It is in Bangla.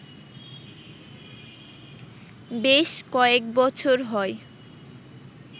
বেশ কয়েক বছর হয়